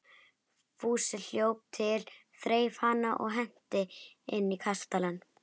Fúsi hljóp til, þreif hana og henti inn í kastalann.